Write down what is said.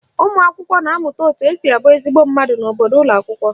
Ụmụakwụkwọ na-amụta etu esi abụ ezigbo mmadụ n'obodo n'ụlọakwụkwọ